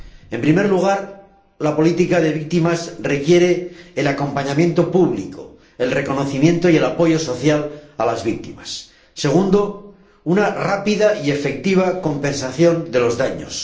En primer lugar, la política de víctimas requiere el acompañamiento público, el reconocimiento y el apoyo social a las víctimas. En segundo lugar, una rápida y efectiva compensación de los daños.